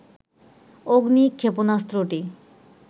অগ্নি ক্ষেপণাস্ত্রটি